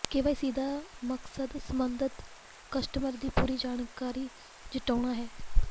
KYC ਦਾ ਮਕਸਦ ਸਬੰਧਤ ਕਸਟਮਰ ਦੀ ਪੂਰੀ ਜਾਣਕਾਰੀ ਜੁਟਾਉਣਾ ਹੈ